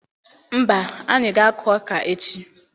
Mba, anyị ga-akụ ọka echi.